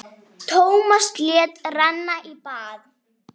Tómas lét renna í bað.